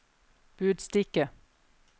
budstikke